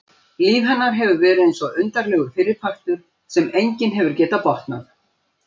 Líf hennar hefur verið eins og undarlegur fyrripartur sem enginn hefur getað botnað.